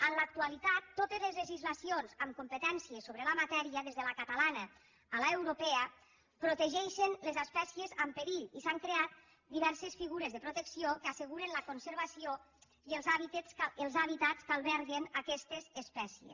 en l’actualitat totes les legislaci·ons amb competència sobre la matèria des de la ca·talana a l’europea protegeixen les espècies en perill i s’han creat diverses figures de protecció que asseguren la conservació i els hàbitats que alberguen aquestes es·pècies